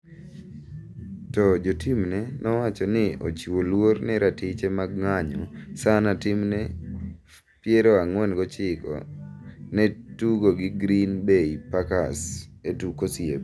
To jotimne nowacho ni ochiwo luor ne ratiche mar ng'anyo sana timne 49ers ne tugo gi Green Bay Packers e tuk osiep.